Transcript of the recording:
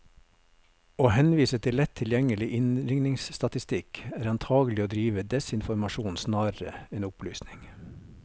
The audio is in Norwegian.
Å henvise til lett tilgjengelig innringningsstatistikk, er antagelig å drive desinformasjon snarere enn opplysning.